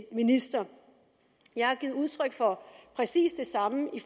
minister jeg har givet udtryk for præcis det samme i